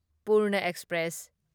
Purna express